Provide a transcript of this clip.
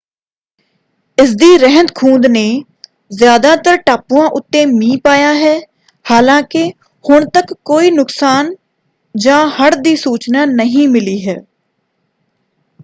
ਇਸਦੀ ਰਹਿੰਦ-ਖੂੰਹਦ ਨੇ ਜ਼ਿਆਦਾਤਰ ਟਾਪੂਆਂ ਉੱਤੇ ਮੀਂਹ ਪਾਇਆ ਹੈ ਹਾਲਾਂਕਿ ਹੁਣ ਤੱਕ ਕੋਈ ਨੁਕਸਾਨ ਜਾਂ ਹੜ੍ਹ ਦੀ ਸੂਚਨਾ ਨਹੀਂ ਮਿਲੀ ਹੈ।